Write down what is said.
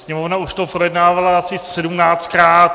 Sněmovna už to projednávala asi sedmnáctkrát.